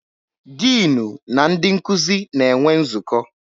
Dịnụ na nkuzi na-enwe nzukọ.